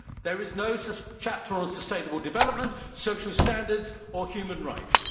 There is no chapter on sustainable development, social standards or human rights.